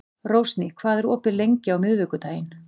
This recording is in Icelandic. Rósný, hvað er opið lengi á miðvikudaginn?